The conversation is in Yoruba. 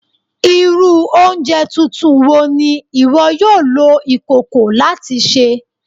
Iru ounjẹ tuntun wo ni iwọ yoo lo ikoko lati ṣe?